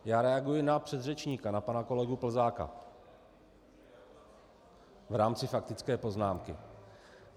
Já reaguji na předřečníka, na pana kolegu Plzáka, v rámci faktické poznámky.